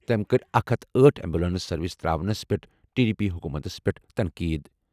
تٔمۍ کٔر اکَھ ہتَھ تہٕ أٹھ ایمبولینس سروس تراونَس پٮ۪ٹھ ٹی ڈی پی حکومتس پٮ۪ٹھ تنقید۔